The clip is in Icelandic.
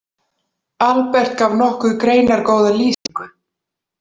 Albert gaf nokkuð greinargóða lýsingu.